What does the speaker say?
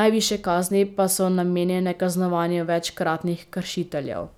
najvišje kazni pa so namenjene kaznovanju večkratnih kršiteljev.